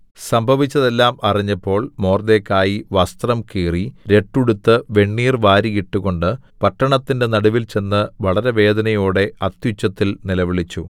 സംഭവിച്ചതെല്ലാം അറിഞ്ഞപ്പോൾ മൊർദെഖായി വസ്ത്രം കീറി രട്ടുടുത്ത് വെണ്ണീർ വാരി ഇട്ടുകൊണ്ട് പട്ടണത്തിന്റെ നടുവിൽ ചെന്ന് വളരെ വേദനയോടെ അത്യുച്ചത്തിൽ നിലവിളിച്ചു